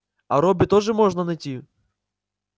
а робби тоже можно найти